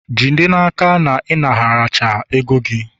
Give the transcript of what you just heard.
jide n'aka na ị naraghachi ego gị!